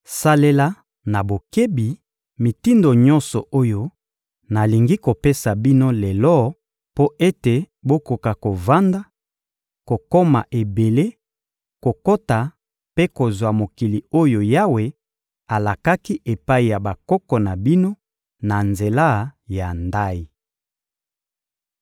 Salela na bokebi mitindo nyonso oyo nalingi kopesa bino lelo mpo ete bokoka kovanda, kokoma ebele, kokota mpe kozwa mokili oyo Yawe alakaki epai ya bakoko na bino na nzela ya ndayi.